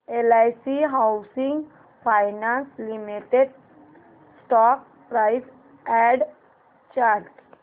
LIC housing finance limited stock price and chart